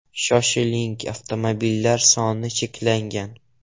Shoshiling avtomobillar soni cheklangan.